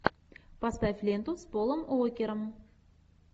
поставь ленту с полом уокером